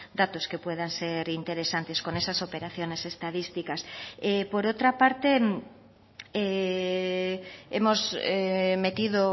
datos que puedan ser interesantes con esas operaciones estadísticas por otra parte hemos metido